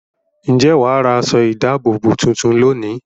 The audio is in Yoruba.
Ǹjẹ́ wà á ra aṣọ-ìdáàbòbò tuntun lónìí?